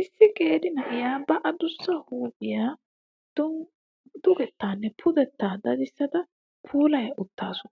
Issi qeeri na'iyaa ba adussa huuphiya dugettaanne pudettaa dadissada puulaya uttasu.